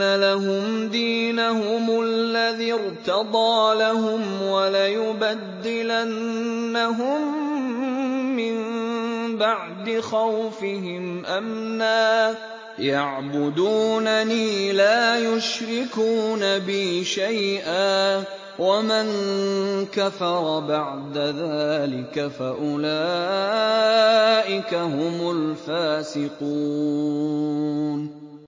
لَهُمْ دِينَهُمُ الَّذِي ارْتَضَىٰ لَهُمْ وَلَيُبَدِّلَنَّهُم مِّن بَعْدِ خَوْفِهِمْ أَمْنًا ۚ يَعْبُدُونَنِي لَا يُشْرِكُونَ بِي شَيْئًا ۚ وَمَن كَفَرَ بَعْدَ ذَٰلِكَ فَأُولَٰئِكَ هُمُ الْفَاسِقُونَ